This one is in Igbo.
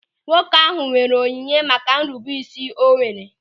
Nwoke ahụ nwere onyinye maka nrubeisi o nwere.